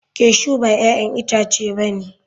Cashew ba 'ya'yan itace ba ne.